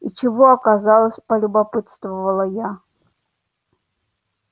и чего оказалось полюбопытствовала я